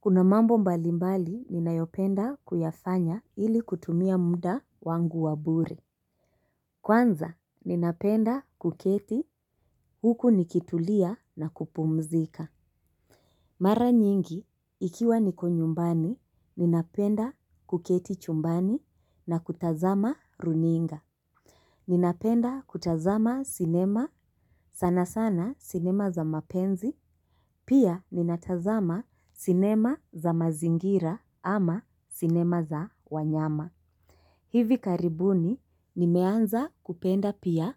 Kuna mambo mbalimbali ninayopenda kuyafanya ili kutumia mda wangu wa bure. Kwanza ninapenda kuketi huku nikitulia na kupumzika. Mara nyingi ikiwa niko nyumbani ninapenda kuketi chumbani na kutazama runinga. Ninapenda kutazama sinema sana sana sinema za mapenzi, pia ninatazama sinema za mazingira ama sinema za wanyama. Hivi karibuni nimeanza kupenda pia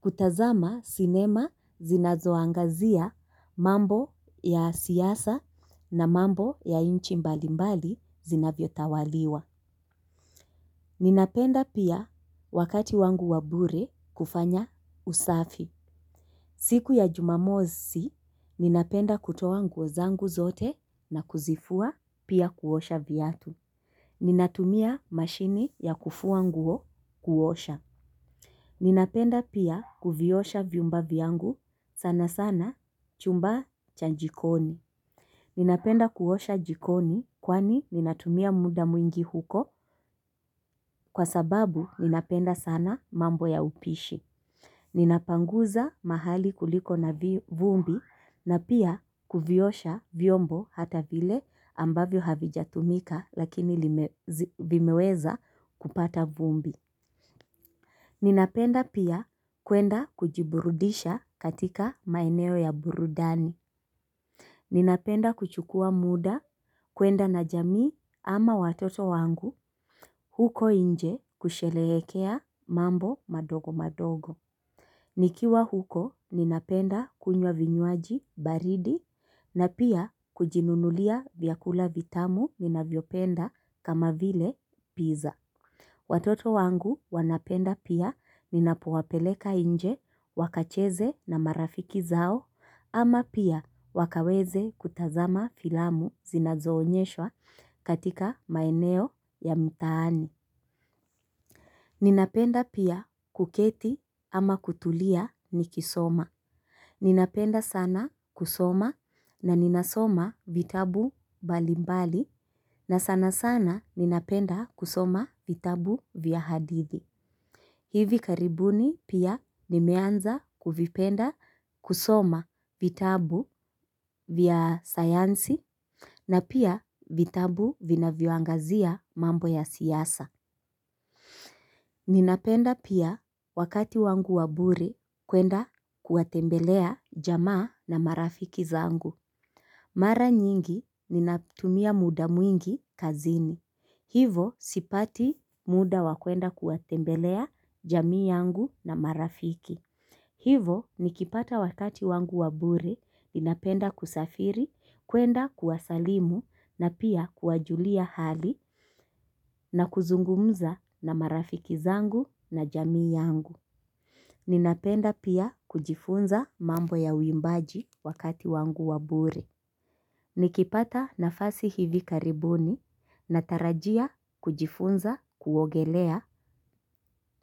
kutazama sinema zinazoangazia mambo ya siasa na mambo ya inchi mbalimbali zinavyo tawaliwa. Ninapenda pia wakati wangu wa bure kufanya usafi. Siku ya jumamosi, ninapenda kutoa nguo zangu zote na kuzifua pia kuosha viatu. Ninatumia mashini ya kufua nguo kuosha. Ninapenda pia kuviosha viumba vyangu sana sana chumba cha jikoni. Ninapenda kuosha jikoni kwani ninatumia muda mwingi huko kwa sababu ninapenda sana mambo ya upishi. Ninapanguza mahali kuliko na vumbi na pia kuviosha vyombo hata vile ambavyo havijatumika lakini vimeweza kupata vumbi. Ninapenda pia kwenda kujiburudisha katika maeneo ya burudani. Ninapenda kuchukua muda kuenda na jamii ama watoto wangu huko inje kushelehekea mambo madogo madogo. Ni kiwa huko ninapenda kunywa vinywaji baridi na pia kujinunulia vyakula vitamu ninavyopenda kama vile pizza. Watoto wangu wanapenda pia ninapowapeleka inje wakacheze na marafiki zao ama pia wakaweze kutazama filamu zinazoonyeshwa katika maeneo ya mtaani. Ninapenda pia kuketi ama kutulia nikisoma. Ninapenda sana kusoma na ninasoma vitabu balimbali na sana sana ninapenda kusoma vitabu vya hadithi. Hivi karibuni pia nimeanza kuvipenda kusoma vitabu vya sayansi. Na pia vitabu vinavyoangazia mambo ya siasa. Ninapenda pia wakati wangu wa bure kwenda kuwatembelea jamaa na marafiki zangu. Mara nyingi ninatumia muda mwingi kazini. Hivo sipati muda wa kuenda kuwatembelea jamii yangu na marafiki. Hivo nikipata wakati wangu wa bure, ninapenda kusafiri, kuenda kuwasalimu na pia kuwajulia hali na kuzungumza na marafiki zangu na jamii yangu. Ninapenda pia kujifunza mambo ya uimbaji wakati wangu wa bure. Nikipata nafasi hivi karibuni na tarajia kujifunza kuogelea.